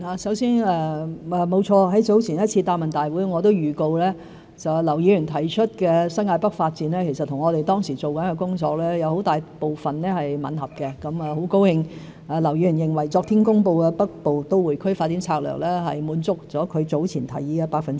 首先，沒錯，在早前一次答問會，我預告劉議員提出的新界北發展，其實和我們當時正在做的工作有很大部分吻合，很高興劉議員認為昨天公布的《北部都會區發展策略》百分百滿足了他早前提出的建議。